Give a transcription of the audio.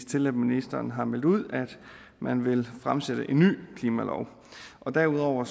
til at ministeren har meldt ud at man vil fremsætte et en ny klimalov derudover